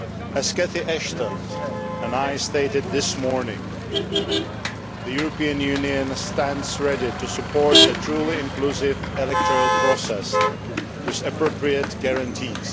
As Catherine Ashton and I stated this morning, the European Union stands ready to support a truly inclusive electoral process with appropriate guarantees.